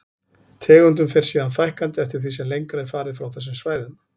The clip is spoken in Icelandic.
Tegundum fer síðan fækkandi eftir því sem lengra er farið frá þessum svæðum.